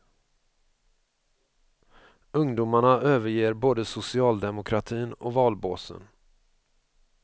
Ungdomarna överger både socialdemokratin och valbåsen.